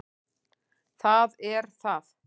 Það er það